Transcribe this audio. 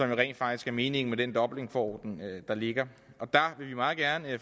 jo rent faktisk er meningen med den dublinforordning der ligger og der vil vi meget gerne